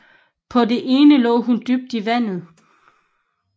På det ene lå hun dybt i vandet